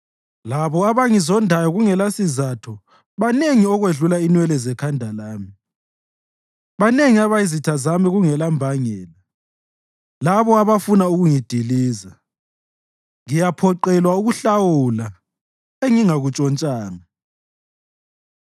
Labo abangizondayo kungelasizatho banengi okwedlula inwele zekhanda lami; banengi abayizitha zami kungelambangela, labo abafuna ukungidiliza. Ngiyaphoqelwa ukuhlawula engingakuntshontshanga.